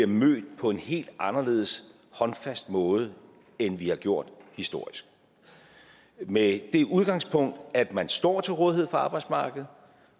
møder vi på en helt anderledes håndfast måde end vi har gjort historisk med det udgangspunkt at man står til rådighed på arbejdsmarkedet